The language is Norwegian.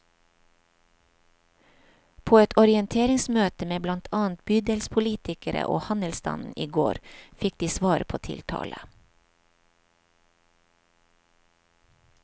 På et orienteringsmøte med blant annet bydelspolitikere og handelsstanden i går fikk de svar på tiltale.